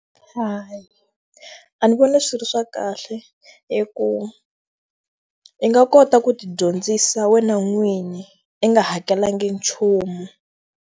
Hayi, a ndzi vona swi ri swa kahle hikuva i nga kota ku ti dyondzisa wena n'wini i nga hakelanga nchumu.